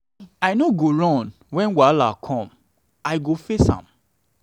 i no go run wen wahala com i go face am.